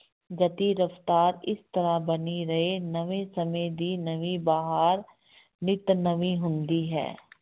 ਗਤੀ ਰਫ਼ਤਾਰ ਇਸ ਤਰ੍ਹਾਂ ਬਣੀ ਰਹੇ, ਨਵੇਂ ਸਮੇਂ ਦੀ ਨਵੀਂ ਬਹਾਰ ਨਿੱਤ ਨਵੀਂ ਹੁੰਦੀ ਹੈ।